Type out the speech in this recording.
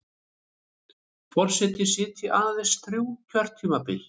Forseti sitji aðeins þrjú kjörtímabil